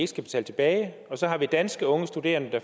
skal betale tilbage og så har vi danske unge studerende